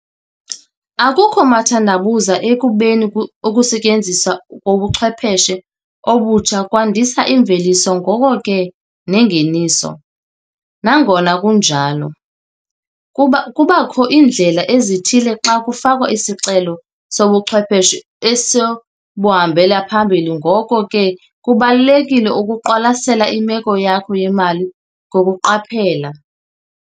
Akukho mathandabuzo ekubeni ukusetyenziswa kobuchwepheshe obutsha kwandisa imveliso ngoko ke nengeniso. Nangona kunjalo, kuba kubakho iindlela ezithile xa kufakwa isicelo sobuchwepheshe esobuhambele phambili ngoko ke kubalulekile ukuqwalasela imeko yakho yemali ngokuqaphela.